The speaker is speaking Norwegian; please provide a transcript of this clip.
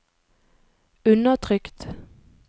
undertrykt